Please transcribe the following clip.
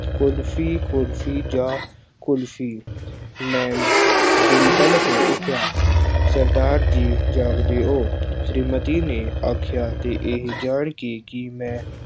ਕੁਲਫੀ, ਕੁਲਫੀ ਜਾਂ ਕੁਲਫੀ, ਮੈਂ ਬਿਲਵੱਲ ਹੋ ਉੱਠਿਆ। ਸਰਦਾਰ ਜੀ ਜਾਗਦੇ ਹੋ। ਸ਼੍ਰੀਮਤੀ ਨੇ ਆਖਿਆ ਅਤੇ ਇਹ ਜਾਣ ਕੇ ਕਿ ਮੈਂ